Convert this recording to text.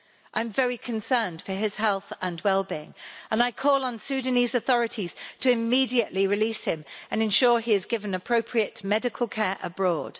I'm very concerned for his health and well-being and I call on the Sudanese authorities to immediately release him and ensure he is given appropriate medical care abroad.